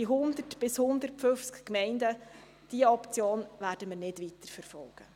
Die Option der 100 bis 150 Gemeinden werden wir nicht weiter verfolgen.